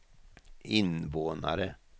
invånare